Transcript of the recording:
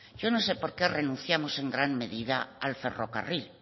yo no sé por qué renunciamos en gran medida al ferrocarril